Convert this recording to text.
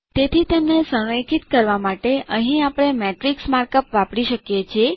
તેથી તેમને સંરેખિત કરવા માટે અહીં આપણે શ્રેણિક માર્કઅપ વાપરી શકીએ છીએ